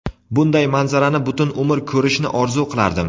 Bunday manzarani butun umr ko‘rishni orzu qilardim.